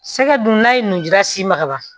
Sɛgɛ dun n'a ye nun jira si ma ka ban